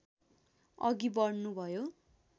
अघि बढ्नुभयो